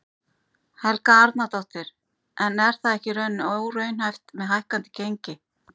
Helga Arnardóttir: En er það ekki í rauninni óraunhæft með hækkandi gengi?